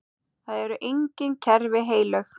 Það eru engin kerfi heilög.